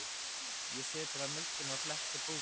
Ég sötraði mjólkina og fletti bókinni.